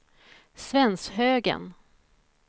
Svenshögen